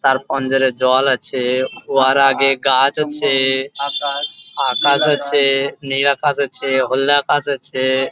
চার পান্জারে জল আছে উহার আগে গাছ আছে আকাশ আছে নীল আকাশ আছে হলদে আকাশ আছে ।